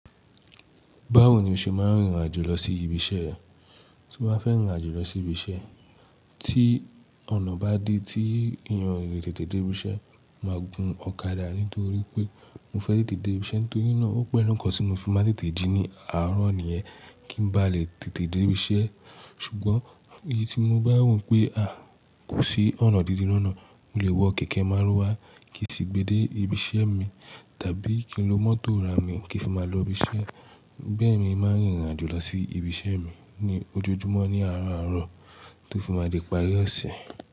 Báwo ni o ṣe máa ń rìn rìn àjò lọ sí ibi iṣẹ́ ẹ? Tí mo bá fẹ́ rìn àjò lọ sí ibi iṣẹ́, tí ọ̀nà bá di tí èèyàn le tètè dé ibi iṣẹ́, màá gun ọ̀kadà nítorí pé mo fẹ́ tètè dé ibi iṣẹ́ nítorí náà ó pẹ́lu nkan tí mo fi máa tètè jí ní àárọ̀ nìyẹn. Kí n ba lè tètè dé ibi iṣẹ́. Ṣùgbọ́n èyí tí mo bá wò pé, kò sí ọ̀nà dídí lọ́nà, mo le wọ kẹ̀kẹ́ márúwá kí n sì gbe dé ibi iṣẹ́ mi, tàbí kí n lo mọ́tò arà mí kí fí máa lọ ibi iṣẹ́. Bẹ́ẹ̀ ni mo màá n rìn irìn àjò lọ sí ibi iṣẹ́ mi ní ojoojúmọ́ ní àárọ̀ àárọ̀ tó fi máa di pari ọ̀se.